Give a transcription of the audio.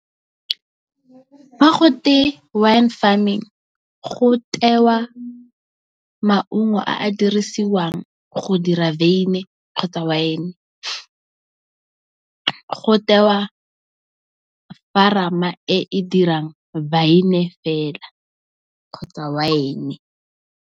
Fa gote wine farming, go tewa maungo a a dirisiwang go dira veine kgotsa wine. Go tewa e e dirang wa viene fela kgotsa wine.